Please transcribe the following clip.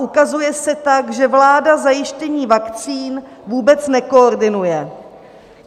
Ukazuje se tak, že vláda zajištění vakcín vůbec nekoordinuje.